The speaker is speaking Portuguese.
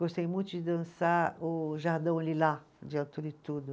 Gostei muito de dançar o Jardão Lila, de Altura e Tudo.